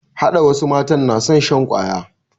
Hada wasu matan na son shan kwaya